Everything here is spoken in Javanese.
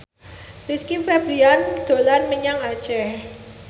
Rizky Febian dolan menyang Aceh